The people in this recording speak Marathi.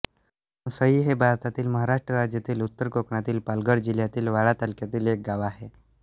घोणसई हे भारतातील महाराष्ट्र राज्यातील उत्तर कोकणातील पालघर जिल्ह्यातील वाडा तालुक्यातील एक गाव आहे